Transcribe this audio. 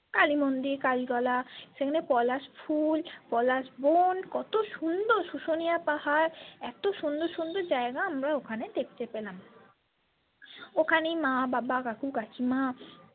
কালীমন্দির কালীতলা সেখানে পলাশ ফুল পলাশ বন কত সুন্দর সুসোনিয়া পাহাড় এত সুন্দর সুন্দর জায়গা আমরা ওখানে দেখতে পেলাম ওখানেই মা বাবা কাকু কাকিমা।